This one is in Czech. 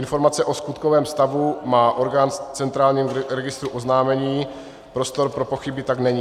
Informace o skutkovém stavu má orgán v centrálním registru oznámení, prostor pro pochyby tak není.